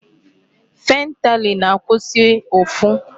Fentanyl na-akwụsị ụfụ.